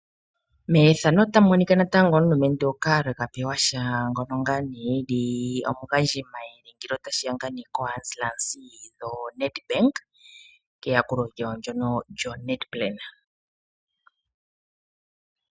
Ethano otali ulike natango omulumentu Karl Kapewasha ngono ngaa ne eli omugandji mayele ngele otashiya ko ansilasi yoNedbank keyakulo lyawo lyono lyoNedplan.